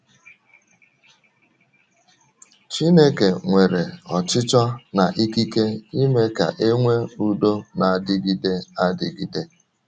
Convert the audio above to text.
Chineke nwere ọchịchọ na ikike ime ka e nwee udo na - adịgide adịgide.